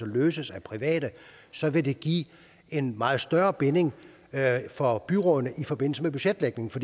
løses af private så vil det give en meget større binding for byrådene i forbindelse med budgetlægningen for